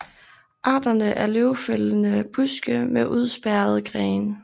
Arterne er løvfældende buske med udspærrede grene